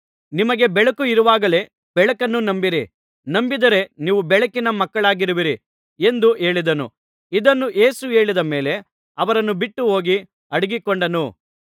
ನಿಮಗೆ ಬೆಳಕು ಇರುವಾಗಲೇ ಬೆಳಕನ್ನು ನಂಬಿರಿ ನಂಬಿದರೆ ನೀವು ಬೆಳಕಿನ ಮಕ್ಕಳಾರಾಗುವಿರಿ ಎಂದು ಹೇಳಿದನು ಇದನ್ನು ಯೇಸು ಹೇಳಿದ ಮೇಲೆ ಅವರನ್ನು ಬಿಟ್ಟುಹೋಗಿ ಅಡಗಿಕೊಂಡನು